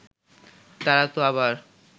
তারা তো আবার